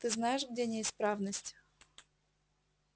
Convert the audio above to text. ты знаешь где неисправность